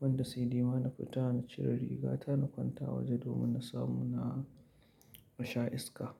wanda sai dai ma na fita na cire riga ta na kwanta waje domin na samu na sha iska.